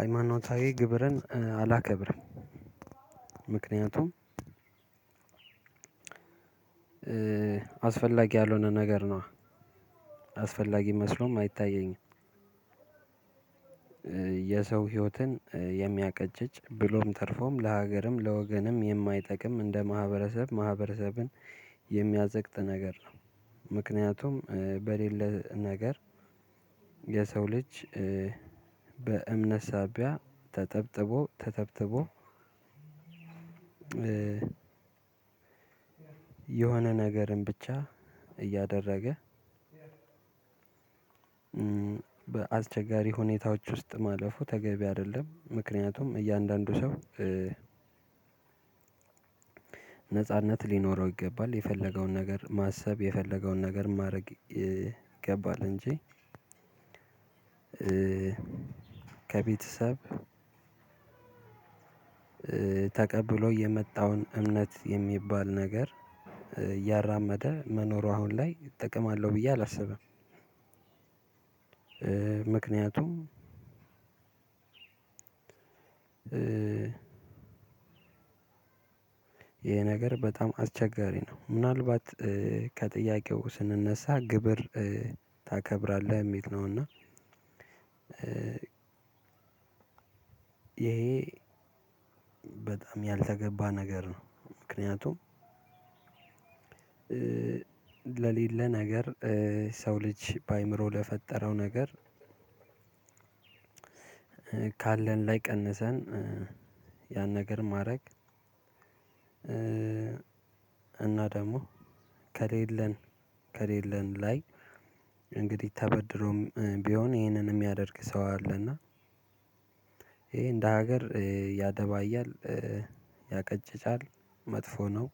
ሃይማኖታዊ ግብርን አላከብርም ምክንያቱም አስፈላጊ ያልሆነ ነገር ነው። አስፈላጊ መስሎም አይታየኝም። የሰው ህይወትን የሚያቀጭጭ ብሎም ተርፎም ለሀገርም ለወገንም የማይጠቅም እንደ ማህበረሰብ ማህበረሰብን የሚያዘቅጥ ነገር ነው ምክንያቱም በሌለ ነገር የሰው ልጅ በእምነት ሳቢያ ተጠብጥቦ ተተብትቦ የሆነ ነገርን ብቻ እያደረገ በአስቸጋሪ ሁኔታዎች ውስጥ ማለፉ ተገቢ አይደለም ምክንያቱም እያንዳንዱ ሰው ነጻነት ሊኖረው ይገባል። የፈለገውን ነገር ማሰብ፣ የፈለገውን ነገር ማድረግ ይገባል እንጂ ከቤተሰብ ተቀብሎ የመጣውን እምነት የሚባል ነገር እያራመደ መኖሩ አሁን ላይ ጥቅም አለው ብዬ አላስብም ምክንያቱም ይሄ ነገር በጣም አስቸጋሪ ነው ምናልባት ከጥያቄው ስንነሳ ግብር ታከብራለህ የሚል ነው እና ይሄ በጣም ያልተገባ ነገር ነው ምክንያቱም ለሌለ ነገር ሰው ልጅ በአእምሮ ለፈጠረው ነገር ካለን ላይ ቀንሰን ያን ነገር ማድረግ እና ደግሞ ከሌለን ከሌለን ላይ እንግዲህ ተበድሮም ቢሆን ይሄንን የሚያደርግ ሰው አለ እና ይሄ እንደ ሀገር ያደባያል፣ ያቀጭጫል መጥፎ ነው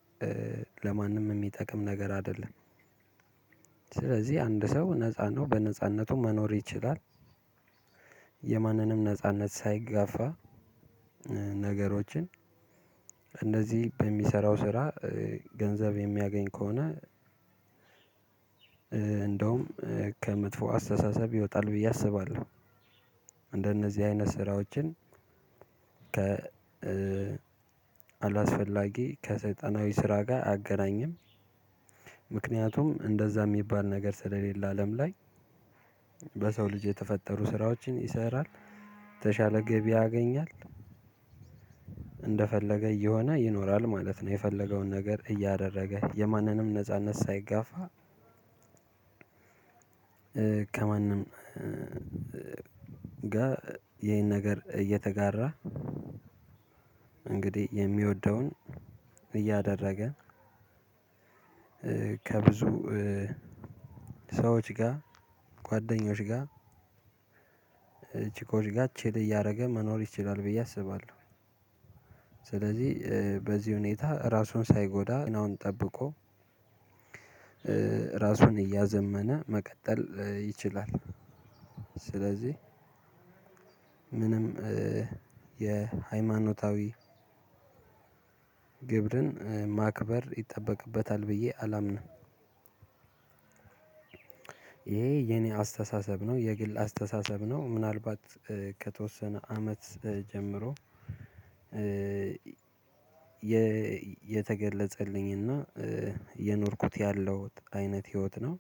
ለማንም የሚጠቅም ነገር አይደለም ስለዚህ አንድ ሰው ነፃ ነው በነፃነቱ መኖር ይችላል የማንንም ነጻነት ሳይጋፋ ነገሮችን እንደዚህ በሚሰራው ስራ ገንዘብ የሚያገኝ ከሆነ እንደውም ከመጥፎ አስተሳሰብ ይወጣል ብዬ አስባለሁ። እንደነዚህ አይነት ስራዎችን ከ አላስፈላጊ ከሰይጣናዊ ስራ ጋር አገናኝም ምክንያቱም እንደዛ የሚባል ነገር ስለሌለ አለም ላይ በሰው ልጅ የተፈጠሩ ስራዎችን ይሰራል፣ የተሻለ ገቢ ያገኛል፣ እንደፈለገ እየሆነ ይኖራል ማለት ነው። የፈለገውን ነገር እያደረገ የማንንም ነጻነት ሳይጋፋ ከማንም ጋር ይሄን ነገር እየተጋራ እንግዲህ የሚወደውን እያደረገ ከብዙ ሰዎች ጋር፣ ጓደኞች ጋር፣ ቺኮች ጋር ቺል እያደረገ መኖር ይችላል ብዬ አስባለሁ ስለዚህ በዚህ ሁኔታ ራሱን ሳይጎዳ ጤናውን ጠብቆ ራሱን እያዘመነ መቀጠል ይችላል። ስለዚህ ምንም የሃይማኖታዊ ግብርን ማክበር ይጠበቅበታል ብዬ አላምንም። ይሄ የኔ አስተሳሰብ ነው፤ የግል አስተሳሰብ ነው። ምናልባት ከተወሰነ አመት ጀምሮ የተገለጸልኝ እና የኖርኩት ያለው አይነት ህይወት ነው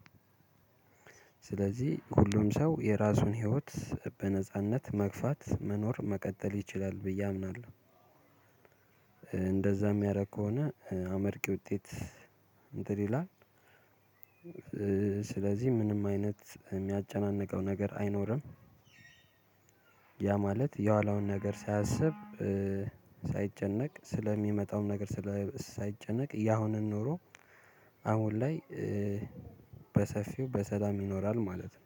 ስለዚህ ሁሉም ሰው የራሱን ህይወት በነጻነት መግፋት፣ መኖር መቀጠል ይችላል ብዬ አምናለሁ። እንደዛ የሚያደርግ ከሆነ አመርቂ ውጤት እንትን ይላል ስለዚህ ምንም አይነት የሚያጨናንቀው ነገር አይኖርም። ያ ማለት የኋላውን ነገር ሳያስብ፣ ሳይጨነቅ ስለሚመጣውም ነገር ሳይጨነቅ ያሁንን ኖሮ አሁን ላይ በሰፊው በሰላም ይኖራል ማለት ነው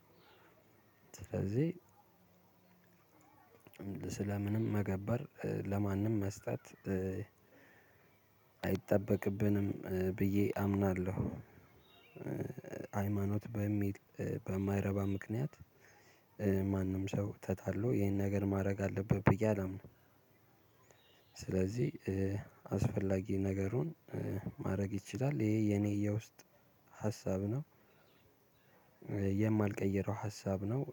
ስለዚህ ስለ ምንም መገበር፣ ለማንም መስጠት አይጠበቅብንም ብዬ አምናለሁ። ሃይማኖት በሚል በማይረባ ምክንያት ማንም ሰው ተታሎ ይሄን ነገር ማድረግ አለብህ ብዬ አላምንም ስለዚህ አስፈላጊ ነገሩን ማድረግ ይችላል ይሄ የኔ ውስጥ ሀሳብ ነው፤ የማልቀይረው ሀሳብ ነው፤